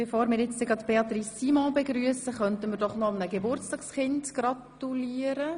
Bevor wir Frau Regierungsrätin Simon begrüssen, können wir noch einem Geburtstagskind gratulieren.